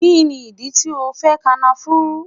Kini idi ti o fẹ Kànáfùrù